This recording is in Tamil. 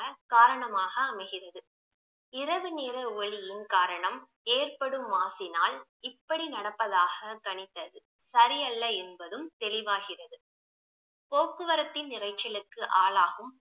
காரணமாக அமைகிறது இரவு நேர ஒளியின் காரணம் ஏற்படும் மாசினால் இப்படி நடப்பதாக கனித்தது சரியல்ல என்பதும் தெளிவாகிறது போக்குவரத்தின் இரைச்சலுக்கு ஆளாகும்